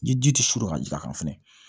Ni ji tɛ suru ka jigin a kan fɛnɛ